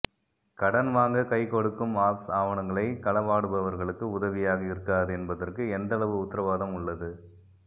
கடன் வாங்க கைகொடுக்கும் ஆப்ஸ் ஆவனங்களை கலவாடுபவர்களுக்கு உதவியாக இருக்காது என்பதற்கு எந்தளவு உத்திரவாதம் உள்ளது